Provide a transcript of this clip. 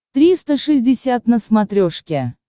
триста шестьдесят на смотрешке